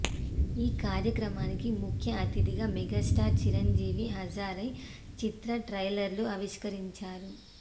ఈ కార్యక్రమానికి ముఖ్యఅతిథిగా మెగాస్టార్ చిరంజీవి హాజరై చిత్ర ట్రైలర్ను ఆవిష్కరించారు